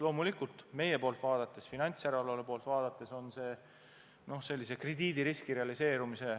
Loomulikult meie poolt vaadates, finantsjärelevalve poolt vaadates tähendab see potentsiaalset krediidiriski realiseerumist.